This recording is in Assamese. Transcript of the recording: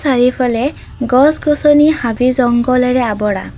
চাৰিওফালে গছ গছনি হাবি জংঘলেৰে আৱৰা।